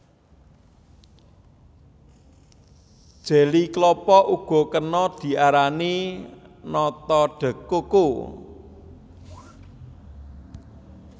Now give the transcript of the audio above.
Jeli klapa uga kena diarani nata de coco